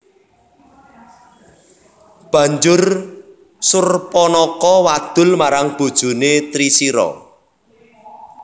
Banjur Surpanaka wadul marang bojone Trisira